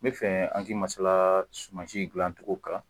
N bɛ fɛ an ki masala sumansi dilancogo kan